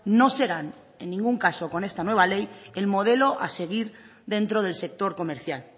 no serán en ningún caso con esta nueva ley el modelo a seguir dentro del sector comercial